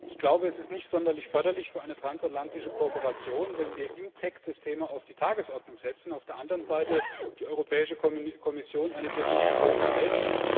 Ich glaube, es ist nicht sonderlich förderlich für eine transatlantische Kooperation, wenn wir im TEC das Thema auf die Tagesordnung setzen, auf der anderen Seite die Europäische Kommission eine Definition erlässt.